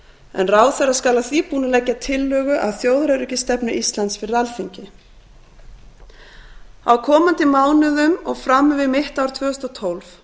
en ráðherra skal að því búnu leggja tillögu að þjóðaröryggisstefnu íslands fyrir alþingi á komandi mánuðum og fram yfir mitt ár tvö þúsund og tólf